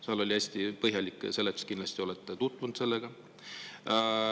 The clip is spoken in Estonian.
Ta oli hästi põhjalik, kindlasti olete tutvunud sellega.